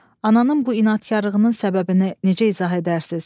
Ananın bu inadkarlığının səbəbini necə izah edərsiniz?